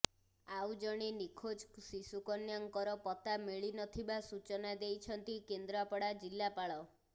ଆଉ ଜଣେ ନିଖୋଜ ଶିଶୁ କନ୍ୟାଙ୍କର ପତ୍ତା ମିଳିନଥିବା ସୂଚନା ଦେଇଛନ୍ତି କେନ୍ଦ୍ରାପଡ଼ା ଜିଲ୍ଲାପାଳ